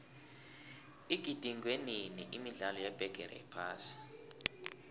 igidingwenini imidlalo yebigiri yephasi